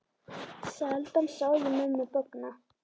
Sjaldan sá ég mömmu bogna.